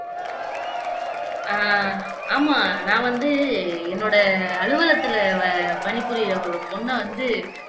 ஆஹ் ஆமா நான் வந்து என்னோட அலுவலகத்திலே பணிபுரியிற ஒரு பொண்ணை வந்து